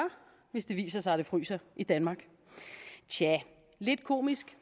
hvis det viser sig at det fryser i danmark tja lidt komisk